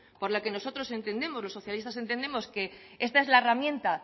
por lo que nosotros entendemos los socialistas entendemos que esta es la herramienta